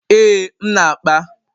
Ee, m na-akpa.